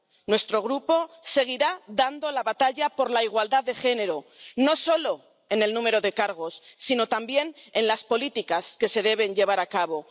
Nuestro Grupo seguirá dando la batalla por la igualdad de género, no solo en el número de cargos sino también en las políticas que se deben llevar a cabo.